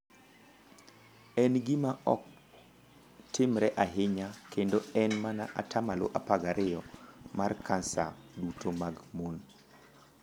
En gima ok timre ahinya kendo en mana 1 2% mar kansa duto mag mon.